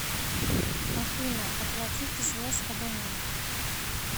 афина оплатите связь абонента